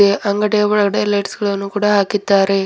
ಈ ಅಂಗಡಿಯ ಒಳಗಡೆ ಲೈಟ್ಸ್ ಗಳನ್ನು ಕೂಡ ಹಾಕಿದ್ದಾರೆ.